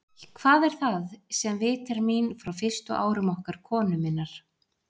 Hvað er það, sem vitjar mín frá fyrstu árum okkar konu minnar?